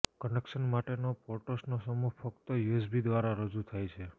connection માટેનો પોર્ટ્સનો સમૂહ ફક્ત યુએસબી દ્વારા રજૂ થાય છે